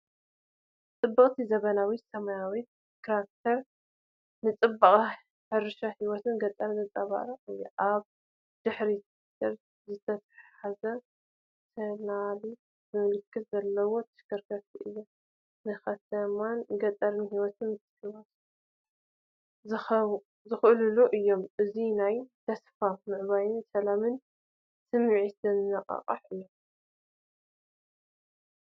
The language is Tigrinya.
ጽብቕቲ ዘመናዊት ሰማያዊት ትራክተር ንጽባቐ ሕርሻን ህይወት ገጠርን ዘንጸባርቕ እያ። ኣብ ድሕሪት ቲለር ዝተተሓሓዘት ሶናሊካ ምልክት ዘለዋ ተሽከርካሪት እያ። ንከተማን ገጠርን ህይወት ምትሕውዋስ ዝውክሉ እዮም። እዚ ናይ ተስፋን ምዕባለን ሰላምን ስምዒት ዘንጸባርቕ እዩ።